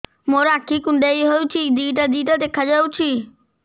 ମୋର ଆଖି କୁଣ୍ଡାଇ ହଉଛି ଦିଇଟା ଦିଇଟା ଦେଖା ଯାଉଛି